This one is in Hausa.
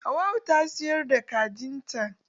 Hauwau ta siyar da kajin ta.